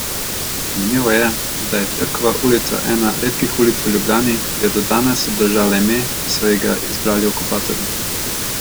Zanimivo je, da je Cerkova ulica ena redkih ulic v Ljubljani, ki je do danes obdržala ime, ki so ji ga izbrali okupatorji.